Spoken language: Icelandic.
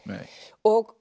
og